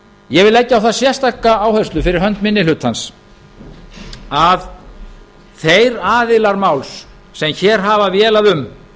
ég vil leggja á það sérstaka áherslu fyrir hönd minni hlutans að þeir aðilar máls sem hér hafa vélað um